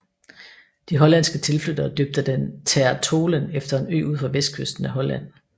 De hollandske tilflyttere døbte den Ter Tholen efter en ø ud for vestkysten af Holland